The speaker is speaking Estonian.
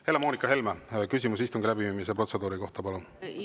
Helle-Moonika Helme, küsimus istungi läbiviimise protseduuri kohta, palun!